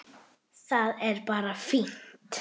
Það er bara fínt.